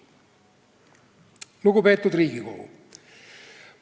Lugupeetud Riigikogu!